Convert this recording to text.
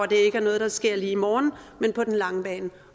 det ikke er noget der sker lige i morgen men på den lange bane